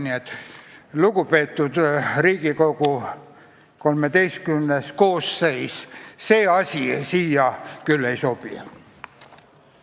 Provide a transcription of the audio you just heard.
Nii et lugupeetud Riigikogu XIII koosseis, see eelnõu küll hea ei ole.